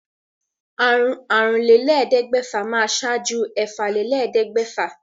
Àrúnlélẹ́ẹ̀ẹ́dẹ́gbẹ́fà máa ṣáájú ẹ̀fàlélẹ́ẹ̀ẹ́dẹ́gbẹ́fà